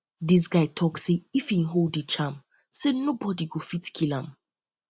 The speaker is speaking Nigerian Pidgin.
di guy tok sey if im hold di charm sey nobodi go fit kill am